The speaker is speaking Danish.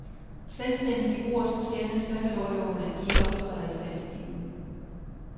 Selvstændige bruger så sjældent sabbatorloven, at de ikke optræder i statistikken.